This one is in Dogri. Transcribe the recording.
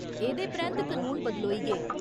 एह्दे परैंत्त कनून बदलोई गे।